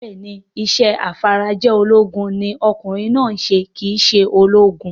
Bẹ́ẹ̀ni, isẹ́ afarajolúgun ní okùnrin náà ń se kìí se ológun